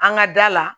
An ka da la